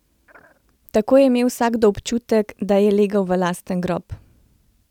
Tako je imel vsakdo občutek, da je legel v lasten grob!